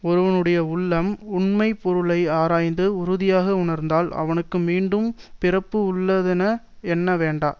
ஒருவனுடைய உள்ளம் உண்மை பொருளை ஆராய்ந்து உறுதியாக உணர்ந்தால் அவனுக்கு மீண்டும் பிறப்பு உள்ள தென எண்ண வேண்டா